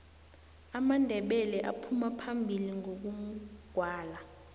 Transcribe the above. amandebele aphuma phambili ngokugwala